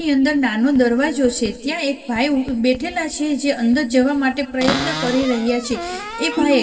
ની અંદર નાનો દરવાજો છે ત્યાં એક ભાઈ બેઠેલા છે જે અંદર જવા માટે પ્રયત્ન કરી રહ્યા છે એ ભાઈ--